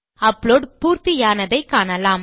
upload பூர்த்தியானதை காணலாம்